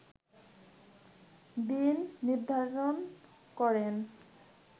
দিন নির্ধারণ করেন